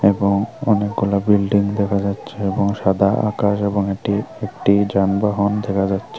এবং অনেকগুলো বিল্ডিং দেখা যাচ্ছে এবং সাদা আকাশ এবং এটি একটি যানবাহন দেখা যাচ্ছে।